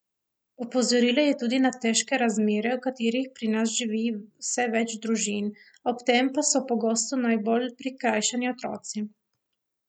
Opozorila je tudi na težke razmere, v katerih pri nas živi vse več družin, ob tem pa so pogosto najbolj prikrajšani otroci.